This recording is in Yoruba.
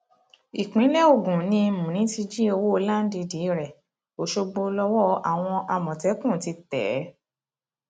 ìpínlẹ ogun ni múni ti jí owó láńdìdì rẹ ọṣọgbó lọwọ àwọn àmọtẹkùn ti tẹ é